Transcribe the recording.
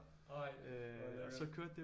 Ej hvor lækkert